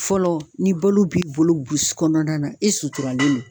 Fɔlɔ ni balo b'i bolo burusu kɔnɔna na e suturalen don